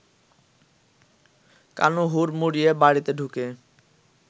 কানু হুড়মুড়িয়ে বাড়িতে ঢুকে